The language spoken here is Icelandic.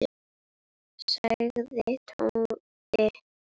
sagði Tóti.